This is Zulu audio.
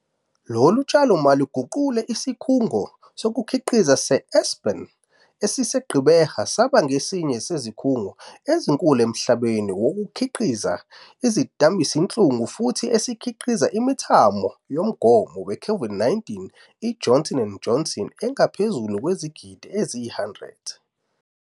Lolu tshalo mali luguqule isikhungo sokukhiqiza seAspen esise-Gqeberha saba ngesinye sezikhungo ezinkulu emhlabeni wonke esikhiqiza izidambisinhlungu futhi esesikhiqize imithamo yomgomo weCOVID-19 i-Johnson and Johnson engaphezulu kwezigidi eziyi-100.